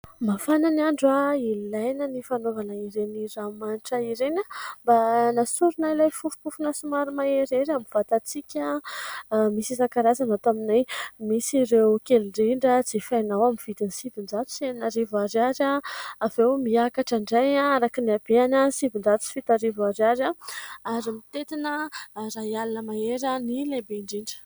Mafana ny andro. Ilaina ny fanaovana ireny ranomanitra ireny mba anasorana ilay fofompofona somary maherihery amin'ny vatantsika. Misy isan-karazany ato aminay. Misy ireo kely indrindra jifainao amin'ny vidiny sivinjato sy enina arivo ariary avy eo miakatra indray araka ny habeany sivinjato sy fito arivo ariary ary mitentina ray alina mahery ny lehibe indrindra.